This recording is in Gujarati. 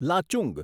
લાચુંગ